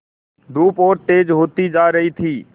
धूप और तेज होती जा रही थी